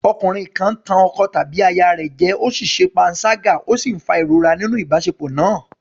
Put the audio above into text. Ọkùnrin kan ń tàn ọkọ tàbí aya rẹ̀ jẹ, ó ṣe panṣágà ó sì ń fa ìrora nínú ìbáṣepọ̀ náà.